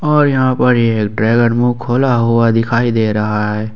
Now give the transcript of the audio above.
और यहां पर ये मुंह खोला हुआ दिखाई दे रहा है।